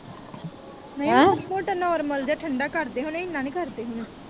ਨਹੀਂ ਮਾੜਾ ਮੋਟਾ normal ਜਿਹਾ ਠੰਡੇ ਕਰਦੇ ਹੋਣੇ ਇਹਨਾਂ ਨਹੀਂ ਕਰਦੇ ਹੋਣੇ।